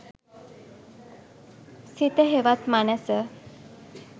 සිත හෙවත් මනැස